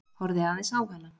Horfði aðeins á hana.